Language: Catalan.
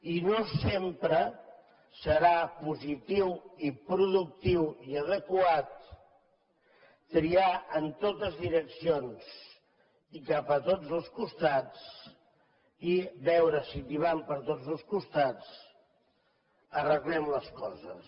i no sempre serà positiu i productiu i adequat triar en totes direccions i cap a tots els costats i veure si tibant per tots dos costats arreglem les coses